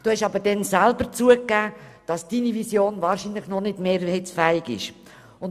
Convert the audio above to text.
Sie haben aber selber zugegeben, dass diese Vision wahrscheinlich noch nicht mehrheitsfähig sei.